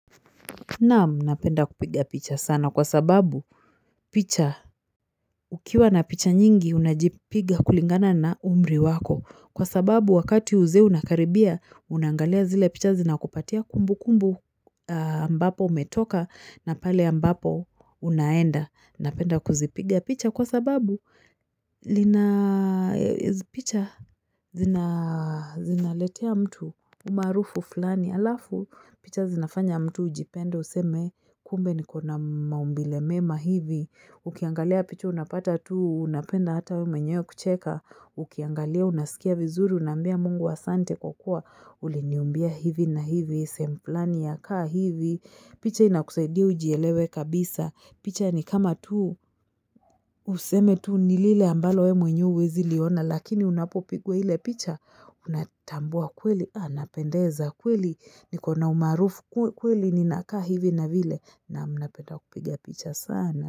Naam napenda kupiga picha sana kwa sababu picha ukiwa na picha nyingi unajipiga kulingana na umri wako kwa sababu wakati uzee unakaribia unangalia zile picha zinakupatia kumbu kumbu ambapo umetoka na pale ambapo unaenda napenda kuzipiga picha kwa sababu lina hizi picha zinaletea mtu umarufu fulani Alafu picha zinafanya mtu ujipende useme kumbe niko na maumbile mema hivi ukiangalia picha unapata tu unapenda hata we menyewe kucheka ukiangalia unasikia vizuri unambia mungu wa sante kwa kua uliniumbia hivi na hivi sehemu flani inakaa hivi picha inakusaidia ujielewe kabisa picha nikama tu useme tu ni lile ambalo we mwenyewe ziliona lakini unapopigwa ile picha unatambua kweli anapendeza kweli niko na na umarufu kweli ninakaa hivi na vile na mnapeta kupigia picha sana.